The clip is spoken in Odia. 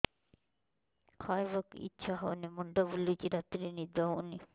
ଖାଇବାକୁ ଇଛା ହଉନି ମୁଣ୍ଡ ବୁଲୁଚି ରାତିରେ ନିଦ ହଉନି